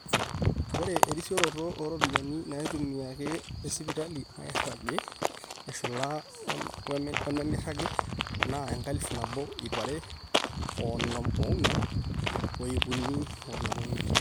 ore erisioroto ooropiyiani naitumiaki tesipitali nairagi eshula wenemeiragi naa enkalifu nabo ip are oonom oong'wan o ip uni oonom oimiet